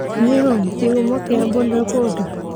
Nĩũĩ kĩhumo kĩa Boda Boda